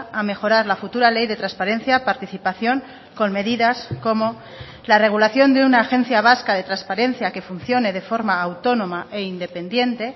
a mejorar la futura ley de transparencia participación con medidas como la regulación de una agencia vasca de transparencia que funcione de forma autónoma e independiente